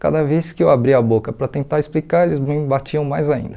Cada vez que eu abria a boca para tentar explicar, eles me batiam mais ainda.